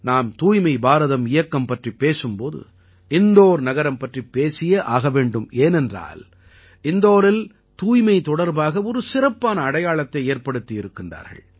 நாம் தூய்மை பாரதம் இயக்கம் பற்றிப் பேசும் போது இந்தோர் நகரம் பற்றிப் பேசியே ஆக வேண்டும் ஏனென்றால் இந்தோரில் தூய்மை தொடர்பாக ஒரு சிறப்பான அடையாளத்தை ஏற்படுத்தி இருக்கிறார்கள்